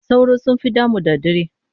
Sauro sun fi damu da dare.